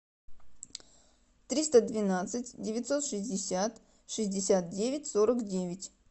триста двенадцать девятьсот шестьдесят шестьдесят девять сорок девять